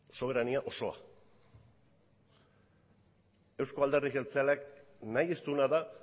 soberania osoa euzko alderdi jeltzaleak nahi ez duena da